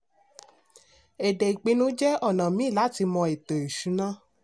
èdè ìpínu jẹ́ ona míì láti mọ ètò ìṣúná.